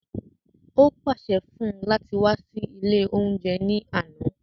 Ó pàṣẹ fún-un láti wá sí ilé oúnjẹ ní àna